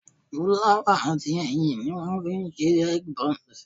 Fúláwà àti ẹyin ni wọ́n fi ń ṣe egg bonze